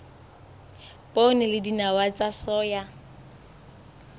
poone le dinawa tsa soya